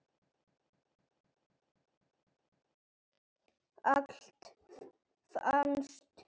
Alltaf fannst hann.